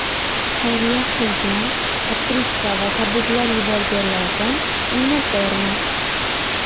Xayriya qilgan, otkritka va tabriklar yuborganlardan minnatdorman.